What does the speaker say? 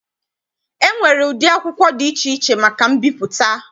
E nwere ụdị akwụkwọ dị iche iche maka mbipụta.